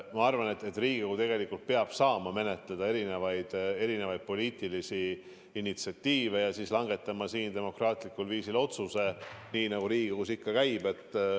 Ma arvan, et Riigikogu tegelikult peab saama menetleda erinevaid poliitilisi initsiatiive ja langetama demokraatlikul viisil otsuseid nii, nagu Riigikogus ikka käib.